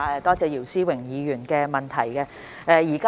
多謝姚思榮議員的補充質詢。